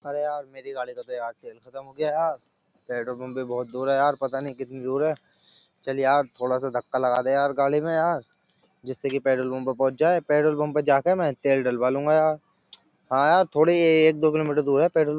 मेरी गाड़ी का तो यार खत्म हो गया यार पेट्रोल पम्प भी बोहोत दूर है यार पता नहीं कितनी दूर है चल यार थोड़ा सा धक्का लगा दे यार गाड़ी में यार जिससे कि पेट्रोल पंप पर पहुंच जाए पेट्रोल पंप पर जाके मैं तेल डलवा लूंगा यार हां यार थोड़ी एक दो किलोमीटर दूर है पेट्रोल --